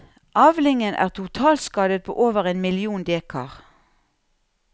Avlingen er totalskadet på over én million dekar.